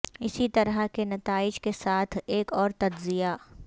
اسی طرح کے نتائج کے ساتھ ایک اور تجزیہ